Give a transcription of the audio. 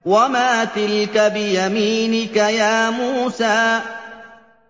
وَمَا تِلْكَ بِيَمِينِكَ يَا مُوسَىٰ